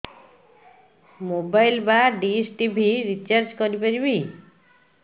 mobile ବା dish TV recharge କରି ପାରିବି